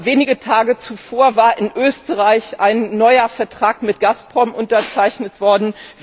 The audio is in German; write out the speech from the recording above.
Wenige Tage zuvor war in Österreich ein neuer Vertrag mit Gazprom unterzeichnet worden.